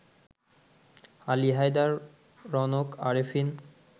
Ali Haider, Raunak Arefin